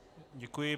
Děkuji.